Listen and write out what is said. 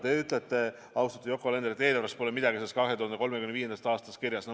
Te ütlete, austatud Yoko Alender, et eelarves pole midagi sellest 2035. aastast kirjas.